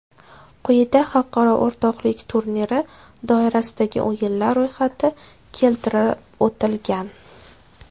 Quyida xalqaro o‘rtoqlik turniri doirasidagi o‘yinlar ro‘yxati keltirib o‘tilgan.